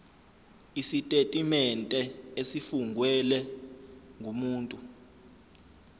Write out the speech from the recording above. isitetimente esifungelwe ngumuntu